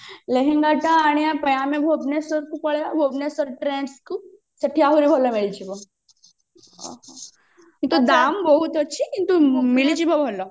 ଲେହେଙ୍ଗା ଟା ଆଣିବା ପାଇଁ ଆମେ ଭୁବନେଶ୍ଵରକୁ ପଳେଇବା ଭୁବନେଶ୍ଵର trends ଅଛି ସେଠି ଆହୁରି ଭଲ ମିଳିଯିବ କିନ୍ତୁ ଦାମ୍ ବହୁତ ଅଛି କିନ୍ତୁ ମିଳିଯିବ ଭଲ